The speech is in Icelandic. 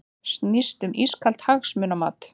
Snýst um ískalt hagsmunamat